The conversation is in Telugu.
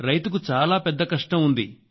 రైతుకు చాలా పెద్ద కష్టం ఉంది